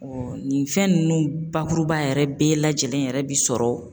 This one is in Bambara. nin fɛn ninnu bakuruba yɛrɛ bɛɛ lajɛlen yɛrɛ bi sɔrɔ